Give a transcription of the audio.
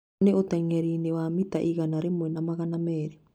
Ĩno nĩ ũtengeri-inĩ wa mita igana rĩmwe na magana merĩ.